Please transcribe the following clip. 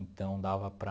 Então dava para...